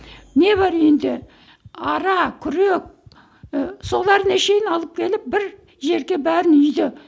не бар үйінде ара күрек і соларына шейін алып келіп бір жерге бәрін үйді